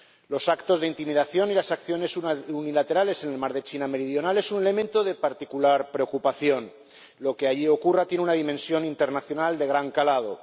Los actos de intimidación y las acciones unilaterales en el mar de China Meridional son un elemento de particular preocupación. Lo que allí ocurra tiene una dimensión internacional de gran calado.